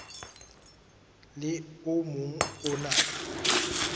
le o mong o na